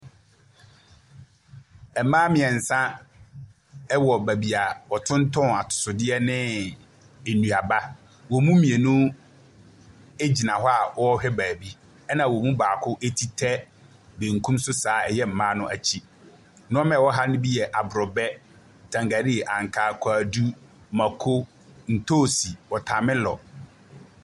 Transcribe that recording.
Mmaa mmiɛnsa wɔ baabi a wɔtontɔn atosodeɛ ne nnuaba. Wɔn mu mmienu gyina hɔ a wɔrehwɛ baabi. Ɛna wɔn mu baako eti tɛ benkum so saa, ɛyɛ mmaa no akyi. Nneɛ a ɛwɔ ha no bi yɛ aborobɛ, tangalii, ankaa, kwadu, mako, ntoosi, wɔtamelɔ.